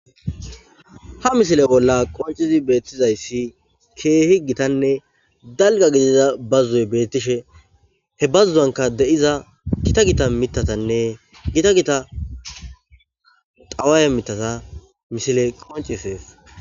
ha misile bolla qoncizi beettizayssi keehi gitanne dalga gidiza bazoy beettishe he bazu'anka de'iza gita gita mitatanne gita gita xawaye mitata misile qoncises